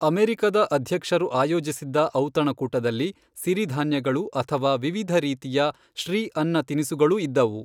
ಅಮೆರಿಕದ ಅಧ್ಯಕ್ಷರು ಆಯೋಜಿಸಿದ್ದ ಔತಣಕೂಟದಲ್ಲಿ ಸಿರಿ ಧಾನ್ಯಗಳು ಅಥವಾ ವಿವಿಧ ರೀತಿಯ ಶ್ರೀಅನ್ನ ತಿನಿಸುಗಳೂ ಇದ್ದವು.